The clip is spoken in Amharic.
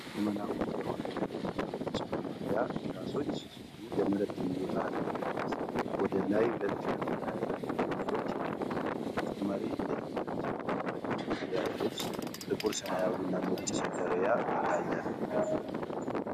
ዘመናዊ የሆነ የተማሪዎች መማርያ ከላሾች ሲሆኑ የመሬት ይዞታ አለመቀነስ ወደ ላይ 2 ከፍታ ያላቸው ክፍሎች ይገኛሉ ። ተጨማሪ የተማሪዎች የመማሪያ ልብስ ጥቁር ሰማያዊና ነጭ ሰደርሪያ ይታያል።